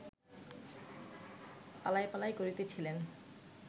পালাই পালাই করিতেছিলেন